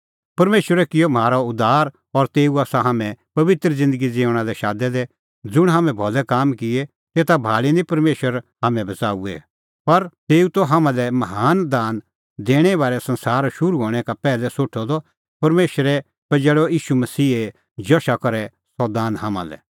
परमेशरै किअ म्हारअ उद्धार और तेऊ आसा हाम्हैं पबित्र ज़िन्दगी ज़िऊंणां लै शादै दै ज़ुंण हाम्हैं भलै काम किऐ तेता भाल़ी निं परमेशरै हाम्हैं बच़ाऊऐ पर तेऊ त हाम्हां लै महान दान दैणें बारै संसार शुरू हणैं का पैहलै सोठअ द परमेशरै पजैल़अ ईशू मसीहे जशा करै सह दान हाम्हां लै